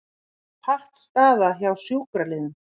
Pattstaða hjá sjúkraliðum